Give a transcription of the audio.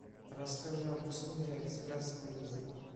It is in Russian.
расскажи об услуге экспресс выезда